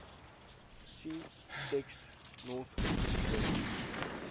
ctext north west